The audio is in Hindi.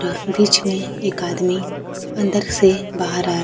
यह बीच में एक आदमी अंदर से बाहर आ--